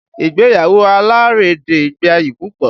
Ìgbéyàwó alárédè gbayì púpọ̀